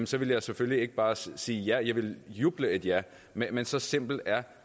så ville jeg selvfølgelig ikke bare sige ja jeg ville juble et ja men men så simpel er